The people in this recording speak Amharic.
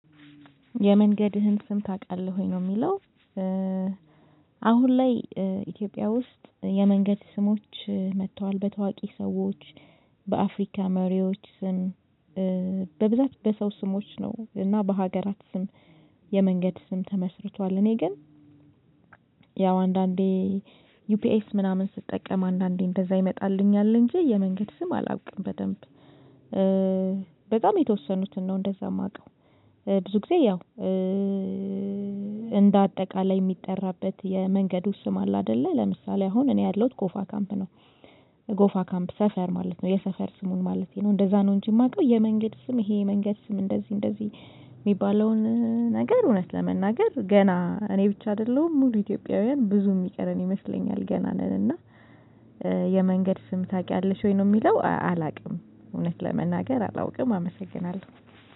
የመንገድህን ስም ታቃለህ ወይ? ነው የሚለው አሁን ላይ ኢትዮጵያ ውስጥ የመንገድ ስሞች መጥተዋል በታዋቂ ሰዎች በአፍሪካ መሪዎች ስም በብዛት በሰው ስሞች ነው እና በሀገራት ስም የመንገድ ስም ተመስርቷል። እኔ ግን ያው አንዳንዴ ዩፒኤስ ምናምን ስትጠቀም አንዳንዴ እንደዛ ይመጣልኛል እንጂ የመንገድ ስም አላውቅም በደንብ በጣም የተወሰኑትን ነው እንደዛ የማውቀው ብዙ ጊዜ ያው እንደ አጠቃላይ የሚጠራበት የመንገዱ ስም አለ አደለ ለምሳሌ አሁን እኔ ያለሁት ጎፋ ካምፕ ነው ጎፋ ካምፕ ሰፈር ማለት ነው የሰፈር ስሙን ማለቴ ነው እንደዛ ነው እንጂ የማውቀው የመንገድ ስም ይሄ የመንገድ ስም እንደዚህ እንደዚህ የሚባለውን ነገር እውነት ለመናገር ገና እኔ ብቻ አይደለሁም ሙሉ ኢትዮጵያውያን ብዙ የሚቀረን ይመስለኛል። ገና ነን እና የመንገድ ስም ታውቂያለሽ ወይ? ነው የሚለው አላውቅም እውነት ለመናገር አላውቅም አመሰግናለሁ።